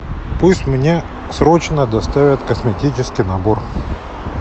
пусть мне срочно доставят косметический набор